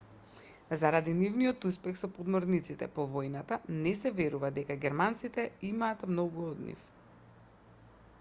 заради нивниот успех со подморниците по војната не се верува дека германците имаат многу од нив